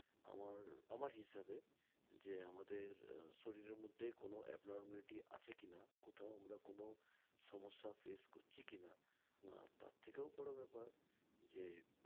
আমার আমার হিসাবে যে আমাদের আহ শরীরের মধ্যে যে কোনো abnormality আছে কিনা কোথাও আমরা কোনো সম্যসা face করছি কিনা আহ তার থেকেও বড় ব্যাপার যে